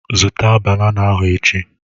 Zụta banana ahụ echi!